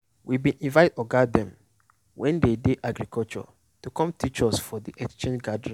we bin invite oga dem wey dey agriculture to come teach us for de exchange gathering.